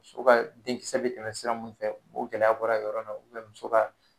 Muso ka denkisɛ bɛ tɛmɛ sira mun fɛ o gɛlɛya bɔra o yɔrɔ la muso ka